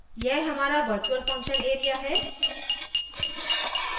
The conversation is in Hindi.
यह हमारा virtual function area है